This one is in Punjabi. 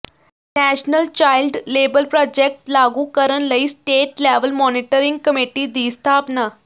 ਨੈਸ਼ਨਲ ਚਾਈਲਡ ਲੇਬਰ ਪ੍ਰਾਜੈਕਟ ਲਾਗੂ ਕਰਨ ਲਈ ਸਟੇਟ ਲੈਵਲ ਮੋਨੀਟਰਿੰਗ ਕਮੇਟੀ ਦੀ ਸਥਾਪਨਾ